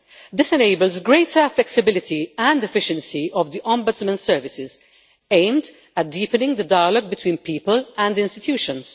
This enables greater flexibility and efficiency of the Ombudsman services, aimed at deepening the dialogue between people and institutions.